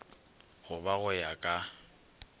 go ba go ya ka